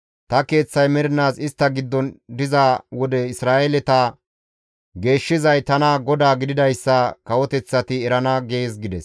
Ta Keeththay mernaas istta giddon diza wode Isra7eeleta geeshshizay tana GODAA gididayssa kawoteththati erana› gees» gides.